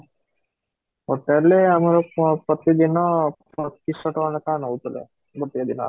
hotel ରେ ଆମର ପ୍ରତିଦିନ ପଚିଶ ଶହ ଟଙ୍କା ଲେଖା ନଉଥିଲେ ଗୋଟିଏ ଦିନର